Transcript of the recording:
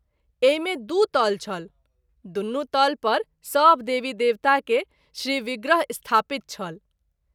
एहि मे दू तल छल दुनू तल पर सभ देवी देवता के श्रीविग्रह स्थापित छल।